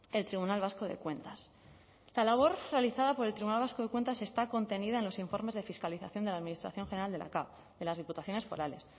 el tribunal vasco de cuentas la labor realizada por el tribunal vasco de cuentas está contenida en los informes de fiscalización de la administración general de la cav de las diputaciones forales